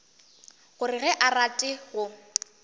gore ga a rate go